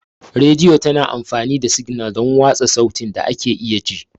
Rediyo tana amfani da signal don watsa sautin da ake iya ji.